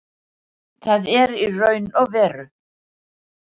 Það er í raun og veru